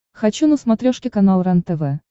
хочу на смотрешке канал рентв